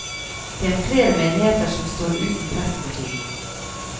Det er flere menigheter som står uten prest for tiden.